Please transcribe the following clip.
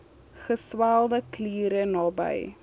geswelde kliere naby